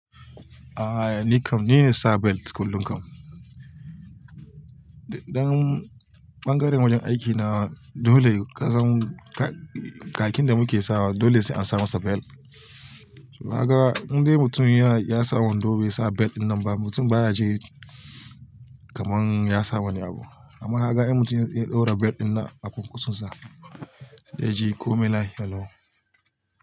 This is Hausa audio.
A'a nikam, nine sa belt kullum kam dan ɓangaren wajen aiki na dole kasan, ka-kakkin da muke sawa dole sai an sa masa belt. Kaga in dai mutum ya-ya saw wando bai sa belt dinnan ba, mutum baya ji kaman ya sawa wani abu. Amma kaka ai mutum ya ɗaura belt dinnan a kwankwasonsa, sai dai yaji komai lafia lau.